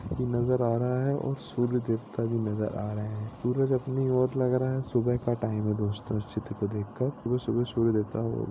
भी नजर आ रहा है और सूर्य देवता भी नजर आ रहे है सूरज अपनी और लग रहा है सुबह का टाइम है दोस्तो इस चित्र को देखकर सुबह सुबह